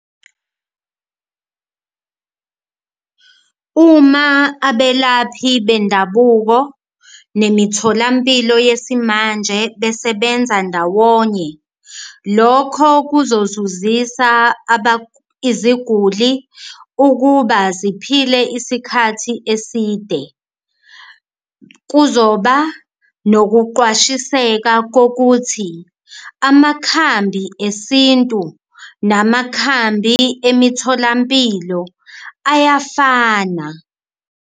Uma abelaphi bendabuko nemitholampilo yesimanje besebenza ndawonye lokho kuzozuzisa iziguli ukuba ziphile isikhathi eside, kuzoba nokuqwashiseka kokuthi amakhambi esintu namakhambi emitholampilo ayafana.